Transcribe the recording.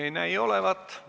Ei näi olevat.